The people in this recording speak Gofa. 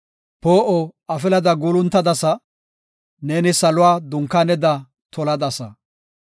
Poo7o afilada guuluntadasa; neeni saluwa dunkaaneda toladasa.